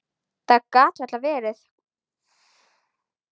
Það gat varla verið.